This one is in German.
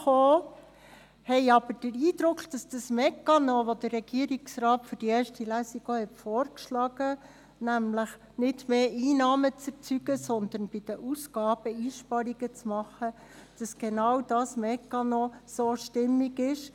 Wir haben aber den Eindruck, dass der Mechanismus, den der Regierungsrat für die erste Lesung vorschlug, nämlich nicht mehr Einnahmen zu erzeugen, sondern bei den Ausgaben Einsparungen zu machen, dass genau dieser Mechanismus so stimmig ist.